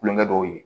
Kulonkɛ dɔw ye